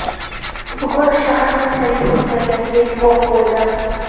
Bugun shahar qanchalik o‘zgarganiga guvoh bo‘ldim.